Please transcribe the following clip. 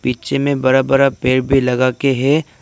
पीछे में बड़ा बड़ा पेड़ भी लगा के है।